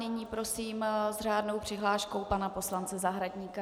Nyní prosím s řádnou přihláškou pana poslance Zahradníka.